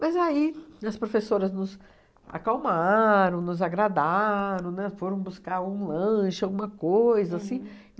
Mas aí as professoras nos acalmaram, nos agradaram, né, foram buscar um lanche, alguma coisa assim.